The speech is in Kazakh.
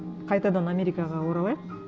қайтадан америкаға оралайық